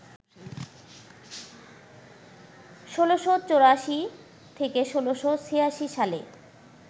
১৬৮৪-১৬৮৬ সালে